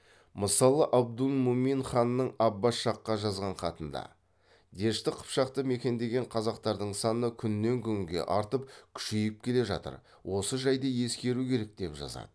мысалы абдулмумин ханның аббас шахқа жазған хатында дешті қыпшақты мекендеген қазақтардың саны күннен күнге артып күшейіп келе жатыр осы жайды ескеру керек деп жазады